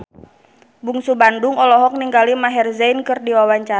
Bungsu Bandung olohok ningali Maher Zein keur diwawancara